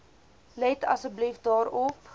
let asseblief daarop